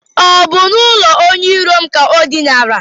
Ọ bụ n'ụlọ ndị iro m ka o dinara?